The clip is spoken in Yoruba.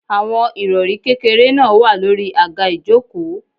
Àwọn Ìrọ̀rí kékeré náà wà lórí àga ìjókòó.